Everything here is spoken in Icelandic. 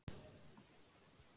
Ef svo er hver er þá ástæðan?